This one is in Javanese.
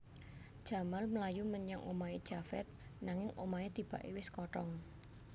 Jamal mlayu menyang omahé Javed nanging omahé tibaké wis kothong